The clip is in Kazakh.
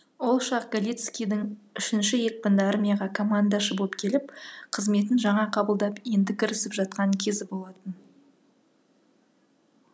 ол шақ галицкийдің үшінші екпінді армияға командашы боп келіп қызметін жаңа қабылдап енді кірісіп жатқан кезі болатын